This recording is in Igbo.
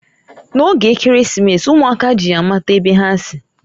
N'oge Ekeresimesi, umuaka ji ya amata ebe ha si.